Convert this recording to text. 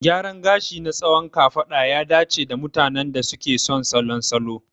Gyaran gashi na tsawon kafada ya dace da mutanen da suke son salon salo.